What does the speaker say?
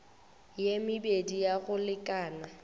ye mebedi ya go lekana